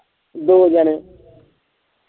ਦੋ ਜਣੇ।